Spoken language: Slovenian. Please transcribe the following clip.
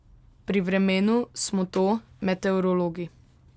Pri vremenu smo to meteorologi.